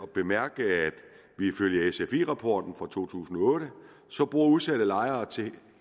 bemærke at ifølge sfi rapporten for to tusind og otte bor udsatte lejere til